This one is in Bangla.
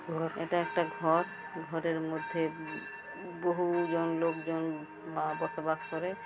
এটা একটা ঘর ঘরের মধ্যে বহুজন লোকজন বসবাস করে।